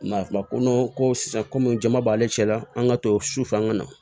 Nka ko ko sisan komi jama b'ale cɛla la an ka to sufɛ an ka na